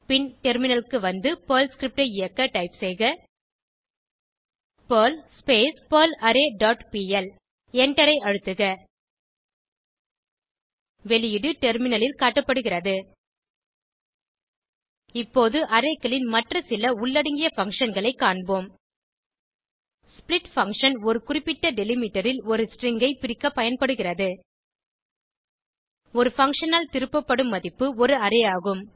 பின் டெர்மினலுக்கு வந்து Perl script ஐ இயக்க டைப் செய்க பெர்ல் பெர்லாரே டாட் பிஎல் எண்டரை அழுத்துக வெளியீடு டெர்மினலில் காட்டப்படுகிறது இப்போது Arrayகளின் மற்ற சில உள்ளடங்கிய functionகளை காண்போம் ஸ்ப்ளிட் பங்ஷன் ஒரு குறிப்பிட்ட டெலிமிட்டர் ல் ஒரு ஸ்ட்ரிங் ஐ பிரிக்க பயன்படுகிறது இந்த பங்ஷன் ஆல் திருப்பப்படும் மதிப்பு ஒரு அரே ஆகும்